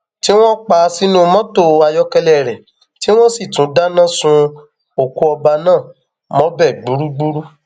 tí wọn pa á sínú mọtò ayọkẹlẹ rẹ tí wọn sì tún dáná sun òkú ọba náà mọbẹ gbúgbúrú